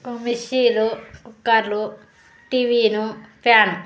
మిక్సీలు కుక్కర్లు టీవీలు ఫ్యాన్ .